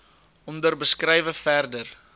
onder beskrywe verder